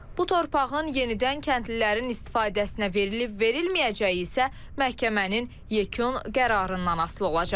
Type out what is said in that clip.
Bu torpağın yenidən kəndlilərin istifadəsinə verilib-verilməyəcəyi isə məhkəmənin yekun qərarından asılı olacaq.